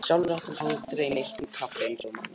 Sjálfur átti hann aldrei neitt með kaffi eins og þú manst.